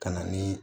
Ka na ni